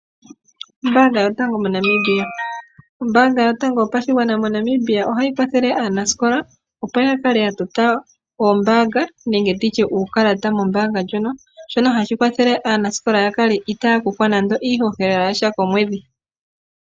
Ombaanga yotango moNamibia, ombaanga yotango yopashigwana moNamibia ohayi kwathele aanasikola opo yakale yatota oombaanga nenge nditye uukalata mombaanga ndjono. Shono hashi kwathele aanasikola yakale itaaya kuthwa nando iihohela yasha komwedhi.